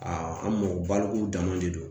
an mɔgɔ baliku dama de don